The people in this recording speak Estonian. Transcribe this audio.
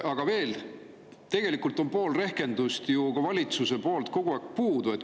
Aga veel, tegelikult on pool rehkendust ju ka valitsusel kogu aeg puudu.